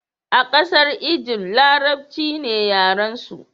a kasar Ijift, larabci ne yaren su